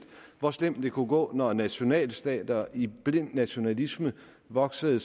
hvor slemt det kunne gå når nationalstater i blind nationalisme voksede